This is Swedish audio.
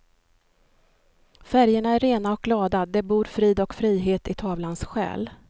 Färgerna är rena och glada, det bor frid och frihet i tavlans själ.